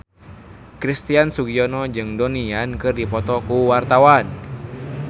Christian Sugiono jeung Donnie Yan keur dipoto ku wartawan